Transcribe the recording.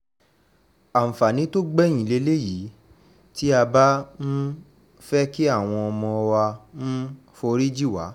àǹfààní tó gbẹ̀yìn lélẹ́yìí tí a bá um fẹ́ kí àwọn ọmọ wa um forí jì wá